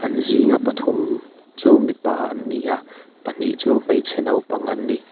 an zinga pathum chu mipa an ni a pahnih chu hmeichhe naupang an ni.